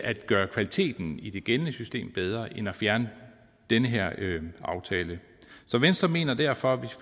at gøre kvaliteten i det gældende system bedre end at fjerne den her aftale så venstre mener derfor